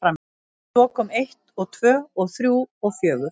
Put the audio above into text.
Og svo kom eitt og tvö og þrjú og fjögur.